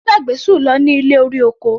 Ó gbàgbé Sùn lọ ní ilé-orí-oko.